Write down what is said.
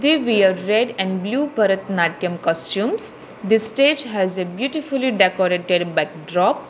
Three wear red and blue bharathanatyam customs this stage has a beautifully decorated backdrop.